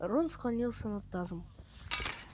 рон склонился над тазом